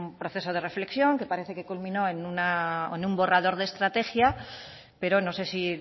proceso de reflexión que parece que culminó en un borrador de estrategia pero no sé si